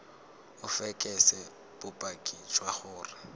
o fekese bopaki jwa gore